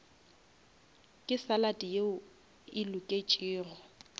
ke salad yeo e loketšego